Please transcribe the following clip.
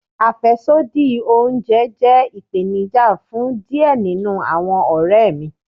Afẹsodi ounjẹ jẹ ipenija fun diẹ ninu awọn ọrẹ mi